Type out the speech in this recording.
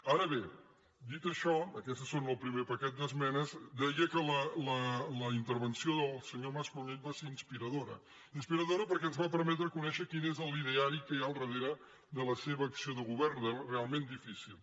ara bé dit això aquestes són el primer paquet d’es·menes deia que la intervenció del senyor mas·colell va ser inspiradora inspiradora perquè ens va permetre conèixer quin és l’ideari que hi ha al darrere de la seva acció de govern realment difícil